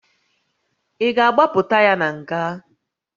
Ị ga a gbapụta ya na nga?